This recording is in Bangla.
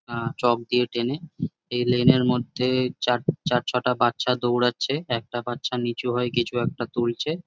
আ চক দিয়ে টেনে এই লেন এর মধ্যে এ চার চার-ছটা বাচ্চা দৌড়াচ্ছে একটা বাচ্চা নিচু হয় কিছু একটা তুলছে।